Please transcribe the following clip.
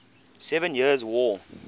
seven years war